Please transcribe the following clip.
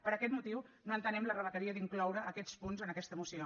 per aquest motiu no entenem la rebequeria d’incloure aquests punts en aquesta moció